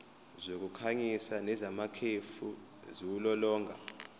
zokukhanyisa nezamakhefu ziwulolonga